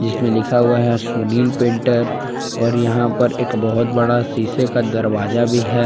लिखा हुआ है सुनील पेंटर और यहां पर एक बहुत बड़ा शीशे का दरवाजा भी है।